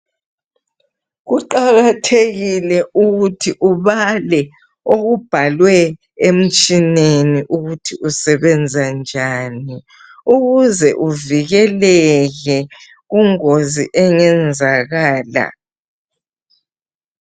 Kuqakathekile ukuthi ubale okubhalwe emtshineni ukuthi usebenza njani ukuze uvikeleke kungozi engenzakala.